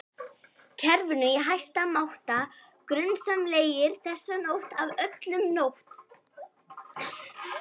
kerfinu í hæsta máta grunsamlegir, þessa nótt af öllum nótt